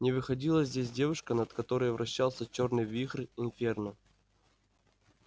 не выходила здесь девушка над которой вращался чёрный вихрь инферно